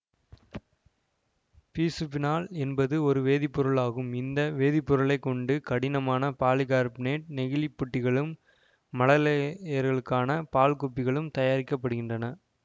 பிசுபீனால் என்பது ஒரு வேதிப்பொருள் ஆகும் இந்த வேதிப்பொருளைக் கொண்டு கடினமான பாலிகார்பனேட் நெகிழி புட்டிகளும் மழலையர்களுக்கான பால் குப்பிகளும் தயாரிக்க படுகின்றன